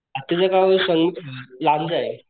आत्ताच्या गावाचं स लांजा